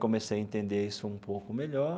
Comecei a entender isso um pouco melhor.